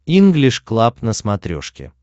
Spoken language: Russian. инглиш клаб на смотрешке